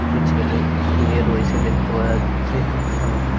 কিছু ছেলে শুয়ে রয়েছে দেখতে পাওয়া যাচ্ছে এবং।